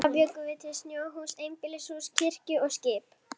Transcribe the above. Þá bjuggum við til snjóhús, einbýlishús, kirkjur og skip.